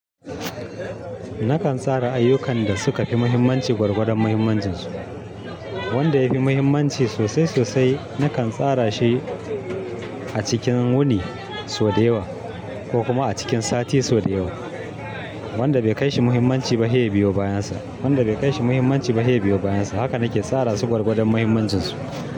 Nakan tsara ayyukan da suka fi muhimmanci gwargwadon muhimmancinsu. Wanda ya fi muhimmanci sosai sosai, nakan tsara shi a cikin wuni sau da yawa ko kuma a cikin sati sau da yawa. Wanda bai kai shi muhimmanci ba sai ya biyo bayansa. Wanda bai kai shi muhimmanci ba sai ya biyo bayansa. Haka nake tsara su gwargwadon muhimmancinsu.